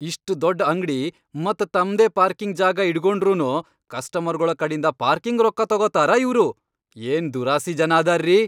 ಇಷ್ಟ್ ದೊಡ್ಡ್ ಅಂಗ್ಡಿ ಮತ್ ತಮ್ದೇ ಪಾರ್ಕಿಂಗ್ ಜಾಗಾ ಇಟ್ಗೊಂಡ್ರುನೂ ಕಸ್ಟಮರ್ಗೊಳ ಕಡಿಂದ ಪಾರ್ಕಿಂಗ್ ರೊಕ್ಕಾ ತೊಗೊತಾರ ಇವ್ರು? ಏನ್ ದುರಾಸಿ ಜನ ಅದಾರ್ರೀ!